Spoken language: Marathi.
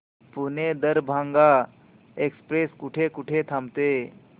पुणे दरभांगा एक्स्प्रेस कुठे कुठे थांबते